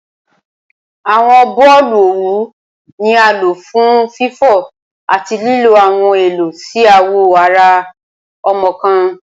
Awọn boolu owu ni a lo fun fifọ ati lilo awọn Elo si awọ ara ọmọ kan